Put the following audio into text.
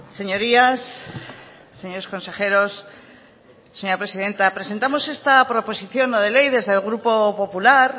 señorías señores consejeros señora presidenta presentamos esta proposición no de ley desde el grupo popular